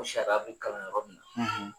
O sariya bɛ kalo yɔrɔ min na